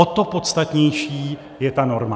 O to podstatnější je ta norma.